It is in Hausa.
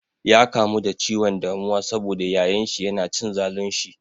Ya kamu da ciwon damuwa sabo da yayan shi yana cin zalun shi.